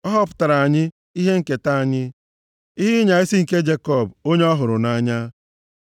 Ọ họpụtaara anyị ihe nketa anyị, ihe ịnya isi nke Jekọb, onye ọ hụrụ nʼanya. Sela